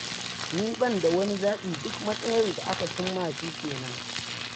Ni ban da wani zaɓi, duk matsayar da aka cin ma shi kenan.